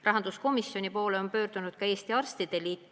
Rahanduskomisjoni poole on pöördunud ka Eesti Arstide Liit.